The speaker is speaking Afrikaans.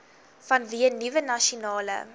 vanweë nuwe nasionale